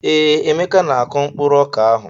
Ee, Emeka na-akụ mkpụrụ ọka ahụ.